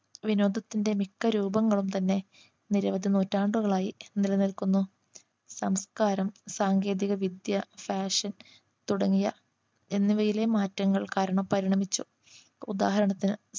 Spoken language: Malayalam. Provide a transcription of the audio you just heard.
വിനോദത്തിന്റെ മിക്കരൂപങ്ങളും തന്നെ നിരവധി നൂറ്റാണ്ടുകളായി നിലനിൽക്കുന്നു സംസ്കാരം സാങ്കേതിക വിദ്യ Fashion തുടങ്ങിയ എന്നിവയിലെ മാറ്റങ്ങൾ കാരണം പരിണമിച്ചു ഉദാഹരണത്തിന്